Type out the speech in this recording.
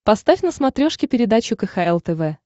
поставь на смотрешке передачу кхл тв